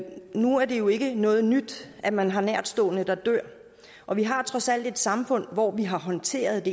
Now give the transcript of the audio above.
nu er det jo ikke noget nyt at man har nærtstående der dør og vi har trods alt et samfund hvor vi har håndteret